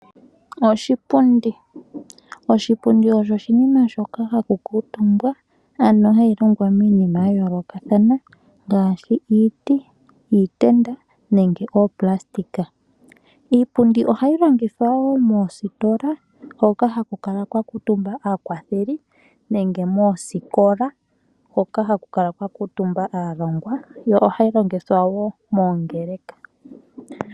Oshipundi. Oshipundi osho oshinima shoka ha shi kalwa omutumba. Osha longwa miinima ya yoolokathana ngaashi, iitenda, iiti nooplastika. Iipundi oha yi longithwa woo moositola, hoka haku kala kwa kala omutumba aakwatheli, osho woo moosikola hoka haku kala kwa kala omutumba aalongwa yo oha yi longithwa woo moongeleka.